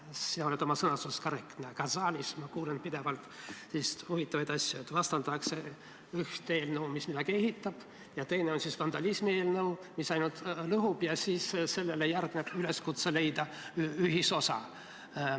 Sina oled oma sõnastuses korrektne, aga saalis ma kuulen pidevalt selliseid huvitavaid asju, et on üks eelnõu, mis midagi ehitab, ja teine on vandalismi eelnõu, mis ainult lõhub, ja siis sellele järgneb üleskutse leida ühisosa.